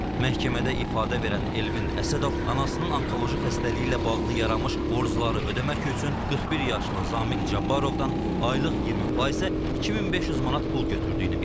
Məhkəmədə ifadə verən Elvin Əsədov anasının onkoloji xəstəliyi ilə bağlı yaranmış borcları ödəmək üçün 41 yaşlı Zamiq Cabbarovdan aylıq 20 faizə 2500 manat pul götürdüyünü bildirib.